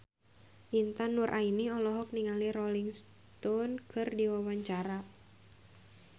Intan Nuraini olohok ningali Rolling Stone keur diwawancara